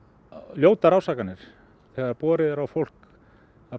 ljótar ásakanir þegar borið er á fólk að